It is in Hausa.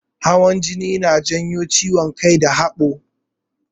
Hawan jini yana janyo ciwon kai da haɓo.